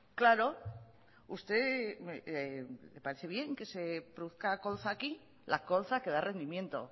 claro a usted le parece bien que se produzca colza aquí la colza que da rendimiento